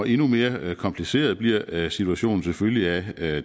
endnu mere kompliceret bliver situationen selvfølgelig af